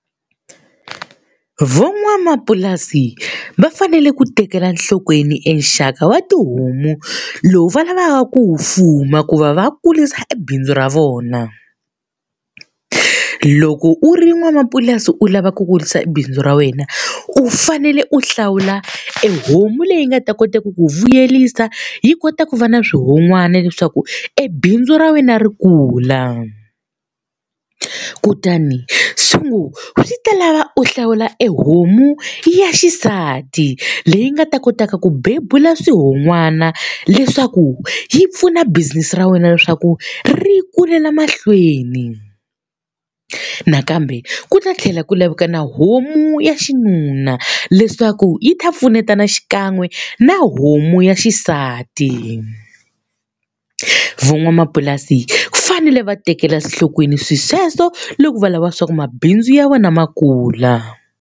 Van'wamapurasi va fanele ku tekela nhlokweni e nxaka wa tihomu lowu va lavaka ku fuma ku va va kurisa e bindzu ra vona. Loko u ri n'wamapurasi u lava ku kurisa bindzu ra wena, u fanele u hlawula e homu leyi nga ta kota ku ku vuyerisa, yi kota ku va na swihon'wana leswaku e bindzu ra wena ri kula. Kutani swi ngo swi ta lava u hlawula e homu ya xisati leyi nga ta kotaka ku bebula swihon'wana leswaku yi pfuna business ra wena leswaku ri kulela mahlweni. Nakambe ku ta tlhela ku laveka na homu ya xinuna leswaku yi ta pfunetana xikan'we na homu ya xisati. Van'wamapurasi va fanele va tekela enhlokweni swilo sweswo loko va lava leswaku mabindzu ya vona ma kula.